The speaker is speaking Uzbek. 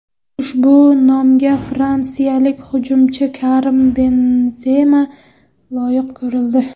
Ushbu nomga fransiyalik hujumchi Karim Benzema loyiq ko‘rildi.